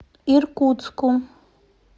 иркутску